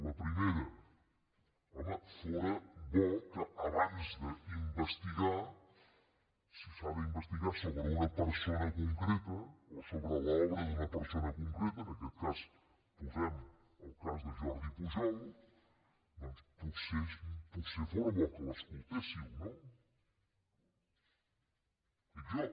la primera home fóra bo que abans d’investigar si s’ha d’investigar sobre una persona concreta o sobre l’obra d’una persona concreta en aquest cas posem el cas de jordi pujol doncs potser fóra bo que l’escoltéssiu no dic jo